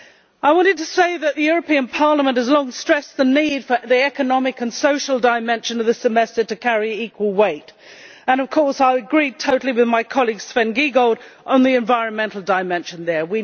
I wanted to say that Parliament has long stressed the need for the economic and social dimension of the Semester to carry equal weight, and of course I agree totally with my colleague Sven Giegold on the environmental dimension there.